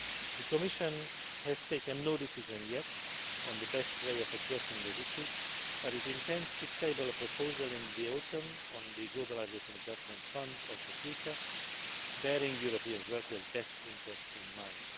The Commission has taken no decision yet on the best way of addressing these issues, but it intends to table a proposal in autumn on the Globalisation Adjustment Fund of the future, bearing European workers' best interests in mind.